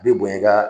I bi bonya i ka